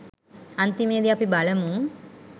අන්තිමේදී අපි බලමු